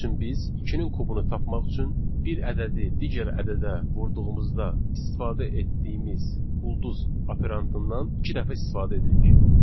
Misal üçün biz ikinin kubunu tapmaq üçün bir ədədi digər ədədə vurduğumuzda istifadə etdiyimiz ulduz operandından iki dəfə istifadə edirik.